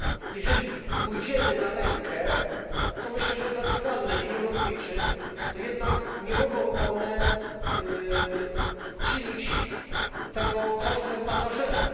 Jeżeli pójdziemy na rękę co myślę, że jest racjonalne liniom lotniczym, to jednak nie mogą one czynić tego kosztem pasażerów.